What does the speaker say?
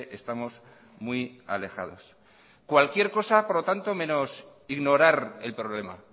estamos muy alejados cualquier cosa por lo tanto menos ignorar el problema